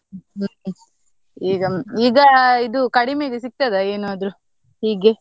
ಈಗ, ಈಗ ಇದು ಕಡಿಮೆಗೆ ಸಿಗ್ತದ ಏನಾದದ್ರು, ಹೀಗೆ?